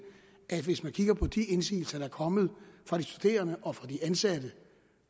at hvis man kigger på de indsigelser der er kommet fra de studerende og fra de ansatte